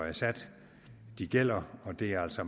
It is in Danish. er sat gælder og det er altså